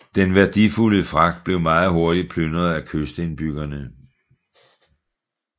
Den værdifulde fragt blev meget hurtig plyndret af kystindbyggerne